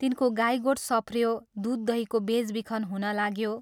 तिनको गाई गोठ सप्रयो, दूध दहीको बेचबिखन हुनलाग्यो।